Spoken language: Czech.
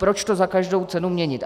Proč to za každou cenu měnit?